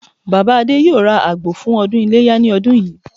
Bàbá Adé yóò ra àgbò fún ọdún Iléyá ní ọdún yìí